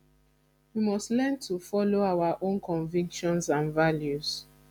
we must learn to follow our own convictions and values